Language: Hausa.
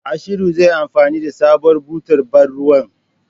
Ashiru zai yi anfani da sabuwar butar bar ruwan.